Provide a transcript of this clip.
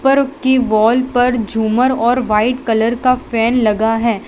पर उसकी वॉल पर झूमर और वाइट कलर का फैन लगा है।